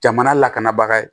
Jamana lakanabaga ye